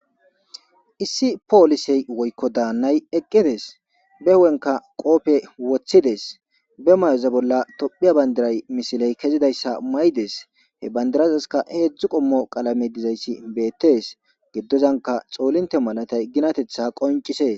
Issi poolisey woykko daannay eqqides be hu'enka qoope woththides be may'oza bolla tophiya bandiray misiley kezidayssa may7des he bandirasaska heedzdzu qommo qalame dizayssi beettes giddozanka xoolinte malatay ginatetha qoncisee.